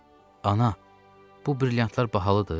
Ana, bu brilyantlar bahalıdır?